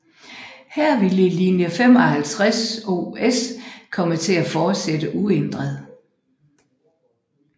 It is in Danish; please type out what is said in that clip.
Her ville linje 550S komme til at fortsætte uændret